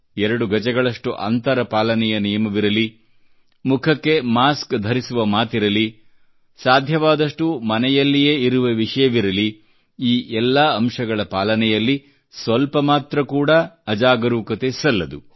ಎರಡು ಗಜಗಳಷ್ಟು ಅಂತರ ಪಾಲನೆಯ ನಿಯಮವಿರಲಿ ಮುಖಕ್ಕೆ ಮಾಸ್ಕ್ ಧರಿಸುವ ಮಾತಿರಲಿ ಸಾಧ್ಯವಾದಷ್ಟೂ ಮನೆಯಲ್ಲಿಯೇ ಇರುವ ವಿಷಯವಿರಲಿ ಈ ಎಲ್ಲಾ ಅಂಶಗಳ ಪಾಲನೆಯಲ್ಲಿ ಸ್ವಲ್ಪ ಮಾತ್ರ ಕೂಡಾ ಅಜಾಗರೂಕತೆ ಸಲ್ಲದು